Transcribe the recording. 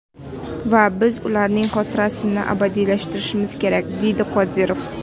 Va biz ularning xotirasini abadiylashtirishimiz kerak”, dedi Qodirov.